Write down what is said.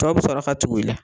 Tɔw bi sɔrɔ ka tugu ila